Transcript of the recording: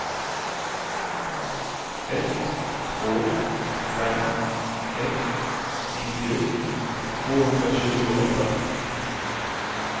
ett två fem ett nittio tvåhundratjugoåtta